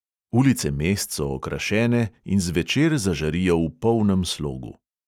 Ulice mest so okrašene in zvečer zažarijo v polnem slogu.